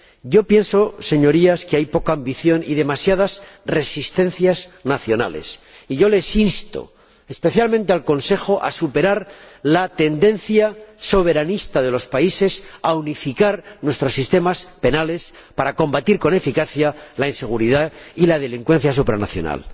Yo pienso, Señorías, que hay poca ambición y demasiadas resistencias nacionales y yo les insto, especialmente al Consejo, a superar la tendencia soberanista de los países, a unificar nuestros sistemas penales, para combatir con eficacia la inseguridad y la delincuencia supranacional.